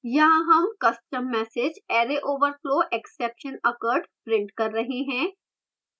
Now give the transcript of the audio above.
यहाँ हम custom message array overflow exception occurred print कर रहे हैं